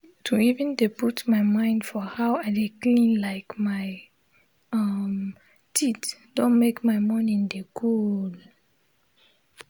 to even dey put my mind for how i de clean like my um teeth don make my mornin dey colleelee um